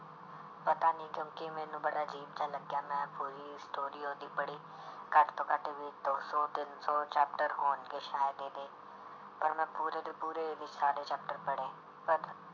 ਪਤਾ ਨੀ ਕਿਉਂਕਿ ਮੈਨੂੰ ਬੜਾ ਅਜ਼ੀਬ ਜਿਹਾ ਲੱਗਿਆ ਮੈਂ ਪੂਰੀ story ਉਹਦੀ ਪੜ੍ਹੀ ਘੱਟ ਤੋਂ ਘੱਟ ਵੀ ਦੋ ਸੌ ਤਿੰਨ ਸੌ chapter ਹੋਣਗੇ ਸ਼ਾਇਦ ਇਹਦੇ, ਪਰ ਮੈਂ ਪੂਰੇ ਦੇ ਪੂਰੇ ਇਹਦੇ ਸਾਰੇ chapter ਪੜ੍ਹੇ